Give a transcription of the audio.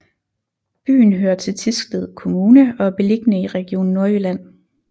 Byen hører til Thisted Kommune og er beliggende i Region Nordjylland